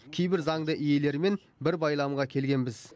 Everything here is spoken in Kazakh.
кейбір заңды иелерімен бір байламға келгенбіз